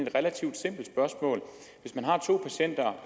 et relativt simpelt spørgsmål hvis man har to patienter